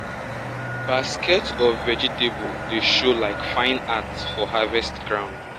basket full of vegetable dey show like fine art for harvest ground.